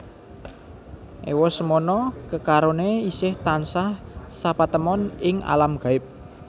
Ewa semana kekaroné isih tansah sapatemon ing alam gaib